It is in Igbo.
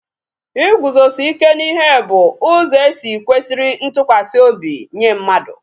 Iguzosi ike n'ihe bu ụzọ e si e kwesiri ntụkwasị obi nye mmadụ